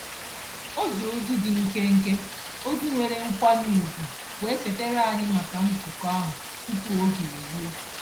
O ji ozi dị nkenke, ozi nwere nkwanye ugwu wee chetara anyị maka nzukọ ahụ tupu oge eruo.